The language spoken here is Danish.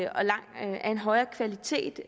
en højere kvalitet